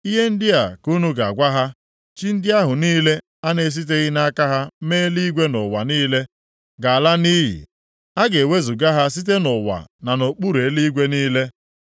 “Ihe ndị a ka unu ga-agwa ha, ‘Chi ndị ahụ niile a na-esiteghị nʼaka ha mee eluigwe na ụwa niile ga-ala nʼiyi. A ga-ewezuga ha site nʼụwa na nʼokpuru eluigwe niile.’ ”